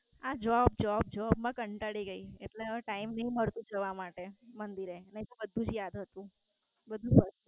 આ Job Job Job માં કંટાળી ગઈ એટલે હવે Time નથી મળતો જવા માટે મંદિર. નઈતો બધું યાદ હતું